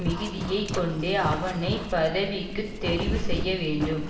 மிகுதியை கொண்டே அவனை பதவிக்கு தெரிவு செய்யவேண்டும்